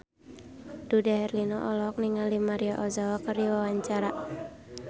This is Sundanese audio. Dude Herlino olohok ningali Maria Ozawa keur diwawancara